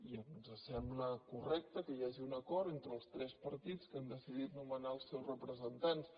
i ens sembla correcte que hi hagi un acord entre els tres partits que han decidit nomenar els seus representants